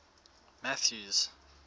mathews